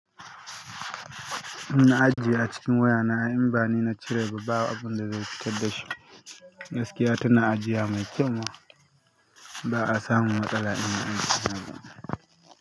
Na ajiye a cikin waya na in bani na cire ba, babu abin da zai fitar da shi. Gaskiya tana ajiya mai kyau ma ba'a samu matsala in an siya.